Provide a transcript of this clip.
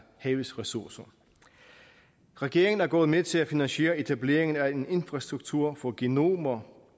havets ressourcer regeringen er gået med til at finansiere etableringen af en infrastruktur for genomer